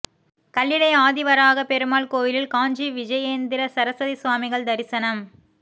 கல்லிடை ஆதிவராகப் பெருமாள் கோயிலில் காஞ்சி விஜயேந்திர சரஸ்வதி சுவாமிகள் தரிசனம்